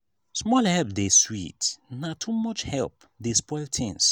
small help dey sweet na too much help dey spoil tins.